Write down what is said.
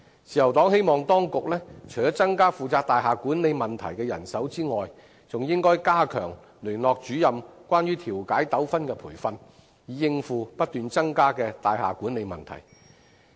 自由黨希望當局除了增加負責大廈管理問題的人手外，還應該加強聯絡主任有關調解糾紛的培訓，以應付不斷增多的大廈管理問題。